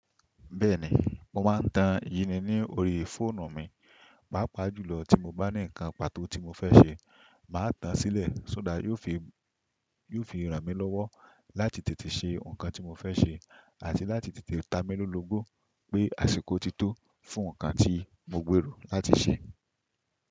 Bẹ́ẹ̀ni, mo máa ń ta yi ni ní orí fóònù mi. Pápá jùlọ tí mo bá ní nǹkan pàtó tí mo fẹ́ ṣe, màá tan sílẹ̀, so that yóò fi, yoo fi ràn mí lọ́wọ́ láti tètè ṣe nǹkan tí mo fẹ́ ṣe àti láti tètè támi lòó lógbo pé àsìkò ti tó fún nǹkan tí mo gbèrò láti ṣe.